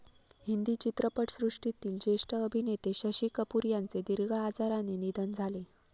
हिंदी चित्रपटसृष्टीतील जेष्ठ अभिनेते शशी कपूर यांचे दिर्घ आजाराने निधन झाले.